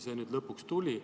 See nüüd lõpuks tuli.